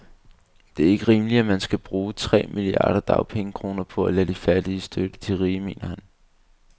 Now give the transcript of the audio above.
Det er ikke rimeligt, at man skal bruge tre milliarder dagpengekroner på at lade de fattige støtte de rige, mener han.